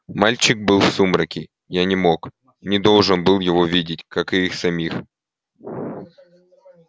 мальчик был в сумраке я не мог не должен был его видеть как и их самих